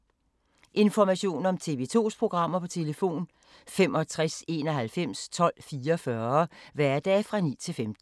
Information om TV 2's programmer: 65 91 12 44, hverdage 9-15.